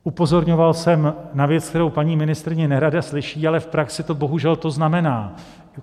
Upozorňoval jsem na věc, kterou paní ministryně nerada slyší, ale v praxi to bohužel to znamená.